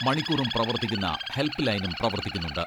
മണിക്കൂറും പ്രവർത്തിക്കുന്ന ഹെൽപ്പ് ലൈനും പ്രവർത്തിക്കുന്നുണ്ട്.